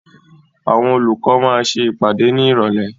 Àwọn olùkọ́ máa ṣe ìpàdé ní Ìrọ̀lẹ́.